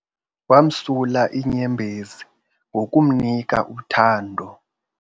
Wamsula iinyembezi ngokumnika uthando.